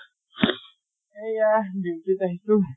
এইয়া duty ত আহিছো।